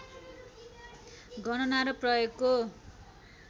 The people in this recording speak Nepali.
गणना र प्रयोगको